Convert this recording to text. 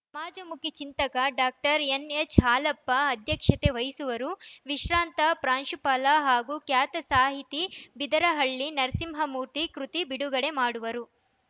ಸಮಾಜಮುಖಿ ಚಿಂತಕ doctor N H Halappa ಅಧ್ಯಕ್ಷತೆ ವಹಿಸುವರು ವಿಶ್ರಾಂತ ಪ್ರಾಂಶುಪಾಲ ಹಾಗೂ ಖ್ಯಾತ ಸಾಹಿತಿ ಬಿದರಹಳ್ಳಿ ನರಸಿಂಹಮೂರ್ತಿ ಕೃತಿ ಬಿಡುಗಡೆ ಮಾಡುವರು